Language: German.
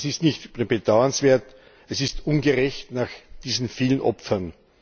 Das ist nicht nur bedauernswert, es ist ungerecht nach diesen vielen Opfern.